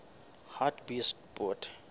hartbeespoort